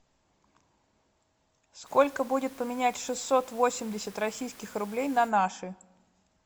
сколько будет поменять шестьсот восемьдесят российских рублей на наши